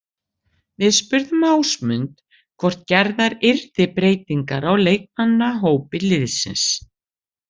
Við spurðum Ásmund hvort gerðar yrði breytingar á leikmannahópi liðsins.